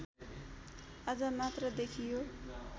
आज मात्र देखियो